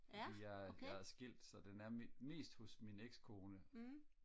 jeg er jeg er skilt så den er mest hos min exkone